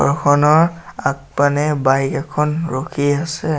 খনৰ আগপানে বাইক এখন ৰখি আছে।